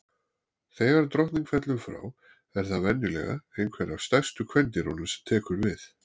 Þegar drottning fellur frá, er það venjulega einhver af stærstu kvendýrunum sem tekur við.